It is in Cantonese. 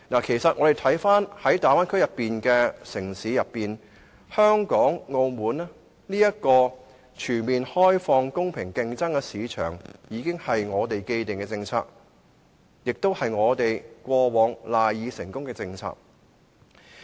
其實，大灣區內的城市當中，香港和澳門均屬全面開放、容許公平競爭的市場，這是我們的既定的政策，也是我們以往賴以成功的政策。